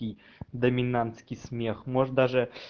и доминантский смех может даже